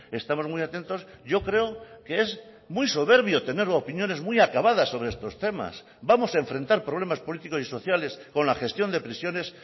estamos muy atentos yo creo que es muy soberbio tener opiniones muy acabadas sobre estos temas vamos a enfrentar problemas políticos y sociales con la gestión de prisiones